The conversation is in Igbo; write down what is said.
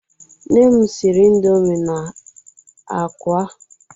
Nne m siri indọmii na ákwá.